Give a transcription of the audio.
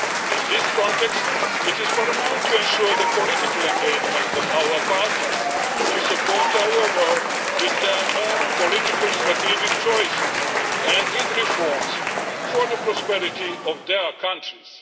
In this context it is paramount to ensure the political engagement of our partners to support our work with their own political strategic choices, and with reforms for the prosperity of their countries.